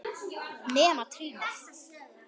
Nema trýnið.